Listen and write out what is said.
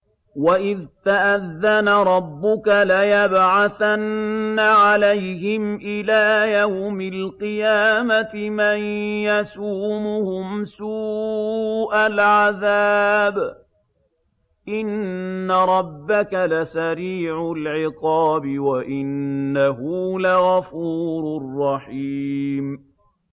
وَإِذْ تَأَذَّنَ رَبُّكَ لَيَبْعَثَنَّ عَلَيْهِمْ إِلَىٰ يَوْمِ الْقِيَامَةِ مَن يَسُومُهُمْ سُوءَ الْعَذَابِ ۗ إِنَّ رَبَّكَ لَسَرِيعُ الْعِقَابِ ۖ وَإِنَّهُ لَغَفُورٌ رَّحِيمٌ